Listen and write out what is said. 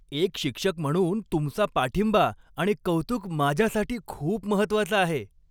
एक शिक्षक म्हणून तुमचा पाठिंबा आणि कौतुक माझ्यासाठी खूप महत्त्वाचं आहे.